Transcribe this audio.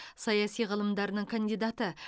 саяси ғылымдарының кандидаты